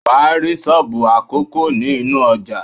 Wàá rí Sóbù àkókó ní inú ojà